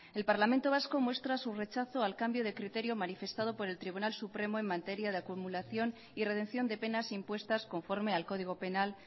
el parlamento vasco muestra su rechazo al cambio de criterio manifestado por el tribunal supremo en materia de acumulación y redención de penas impuestas conforme al código penal